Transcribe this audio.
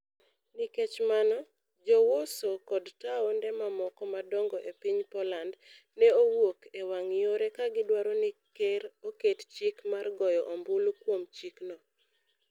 Nikech mano, Jo-Warsaw kod taonde mamoko madongo e piny Poland, ne owuok e wang' yore ka gidwaro ni Ker oket chik mar goyo ombulu kuom chikno.